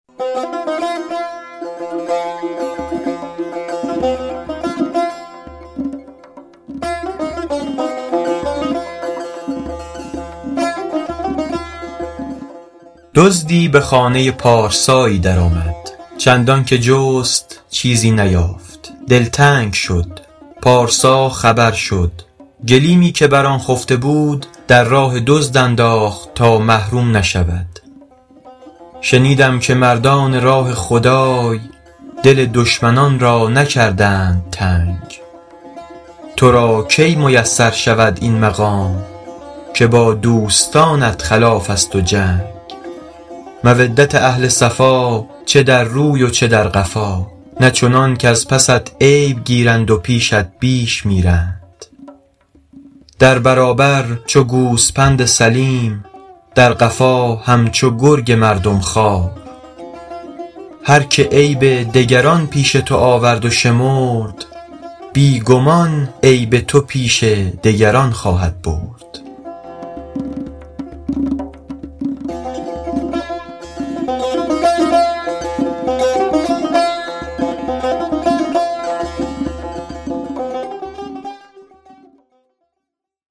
دزدی به خانه پارسایی در آمد چندان که جست چیزی نیافت دلتنگ شد پارسا خبر شد گلیمی که بر آن خفته بود در راه دزد انداخت تا محروم نشود شنیدم که مردان راه خدای دل دشمنان را نکردند تنگ تو را کی میسر شود این مقام که با دوستانت خلاف است و جنگ مودت اهل صفا چه در روی و چه در قفا نه چنان کز پست عیب گیرند و پیشت بیش میرند در برابر چو گوسپند سلیم در قفا همچو گرگ مردم خوار هر که عیب دگران پیش تو آورد و شمرد بی گمان عیب تو پیش دگران خواهد برد